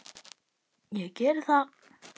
Ég geri það.